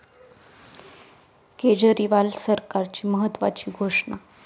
केजरीवाल सरकारची महत्त्वाची घोषणा